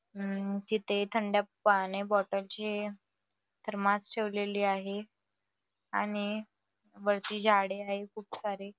अ तिथे थंड पाणी बॉटल ची थर्मास ठेवलेले आहे आणि वरती झाडे आहे खूप सारे--